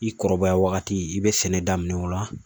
I kɔrɔbaya wagati i bɛ sɛnɛ daminɛ o la